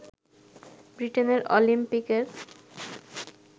বৃটেনের অলিম্পিকের